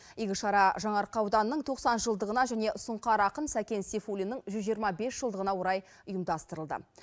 игі шара жаңаарқа ауданының тоқсан жылдығына және сұңқар ақын сәкен сейфуллиннің жүз жиырма бес жылдығына орай ұйымдастырылды